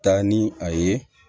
Taa ni a ye